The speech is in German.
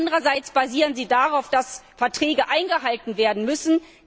Andererseits basieren sie darauf, dass Verträge eingehalten werden müssen.